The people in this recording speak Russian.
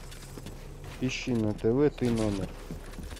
ищи на тв ты номер